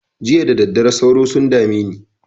Jiya da daddare sauro sun dame ne.